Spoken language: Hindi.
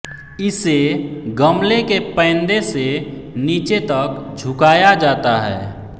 इसे गमले के पैंदे से नीचे तक झुकाया जाता है